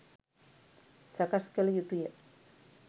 සකස් කල යුතුය.